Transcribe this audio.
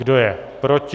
Kdo je proti?